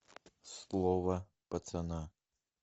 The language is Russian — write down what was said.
слово пацана